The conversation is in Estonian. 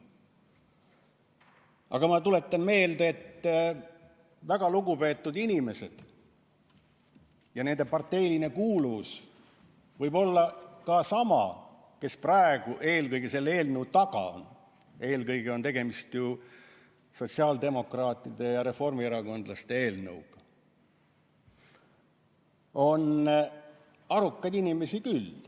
Samas ma tuletan meelde, et väga lugupeetud inimeste seas, ja nende parteiline kuuluvus võib olla sama kui nendel, kes praegu eelkõige selle eelnõu taga on – eelkõige on tegemist ju sotsiaaldemokraatide ja reformierakondlaste eelnõuga –, on arukaid inimesi küll.